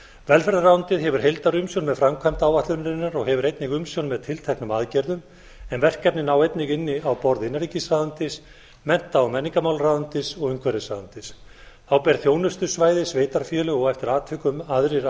velferðarráðuneytið hefur heildarumsjón með framkvæmd áætlunarinnar og hefur einnig umsjón með tilteknum aðgerðum en verkefnin ná einnig inn á borð innanríkisráðuneytis mennta og menningarmálaráðuneytis og umhverfisráðuneytis þá ber þjónustusvæði sveitarfélaga og eftir atvikum aðrir